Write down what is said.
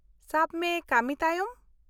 - ᱥᱟᱵ ᱢᱮ , ᱠᱟᱹᱢᱤ ᱛᱟᱭᱚᱢ ?